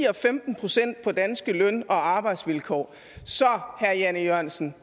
og femten procent på danske løn og arbejdsvilkår så herre jan e jørgensen